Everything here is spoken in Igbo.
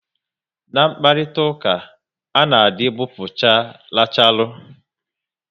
Na mkparitauka, a dị gbupucha racharu